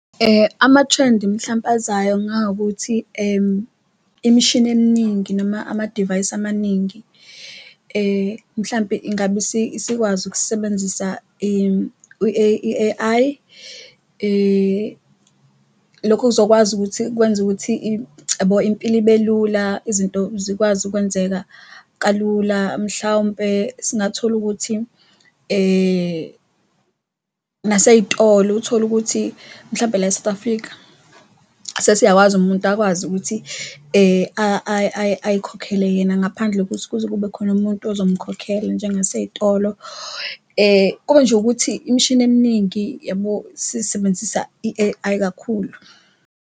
Amathrendi mhlampe azayo ngawukuthi imshini eminingi noma amadivayisi amaningi mhlampe ingabe isikwazi ukusebenzisa i-A_I lokho kuzokwazi ukuthi kwenza ukuthi impilo ibe lula, izinto zikwazi ukwenzeka kalula. Mhlawumpe singathola ukuthi nasey'tolo uthole ukuthi mhlawumpe la eSouth Africa sesiyakwazi umuntu akwazi ukuthi ayikhokhele yena ngaphandle kokuthi kuze kube khona umuntu ozomkhokhela njengasey'tolo. Kube nje ukuthi imshini eminingi uyabo, sisebenzisa i-A_I kakhulu.